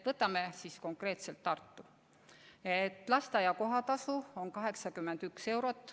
Võtame konkreetselt Tartu, kus lasteaia kohatasu on 81 eurot.